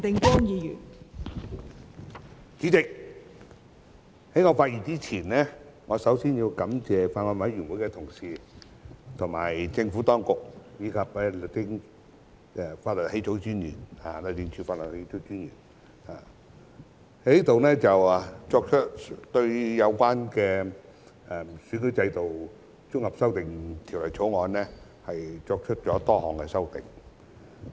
代理主席，在我發言之前，我首先要感謝《2021年完善選舉制度條例草案》委員會的同事、政府當局、律政司法律草擬專員對《2021年完善選舉制度條例草案》作出了多項修訂。